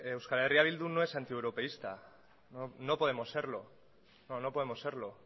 eh bildu no es antieuropeísta no podemos serlo no podemos serlo